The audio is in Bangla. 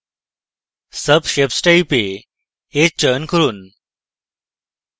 subshapes type এ edge চয়ন করুন